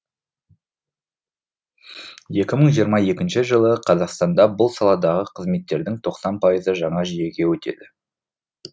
екі мың жиырма екінші жылы қазақстанда бұл саладағы қызметтердің тоқсан пайызы жаңа жүйеге өтеді